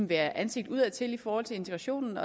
være ansigt udadtil i forhold til integrationen